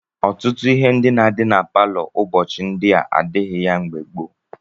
Ọtụtụ ihe ndị na-adị na palọ n'ụbọchị ndị a adịghị ya mgbe gboo.